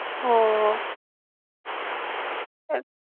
હમ્મ હમ્મ.